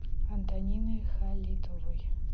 антонины халитовой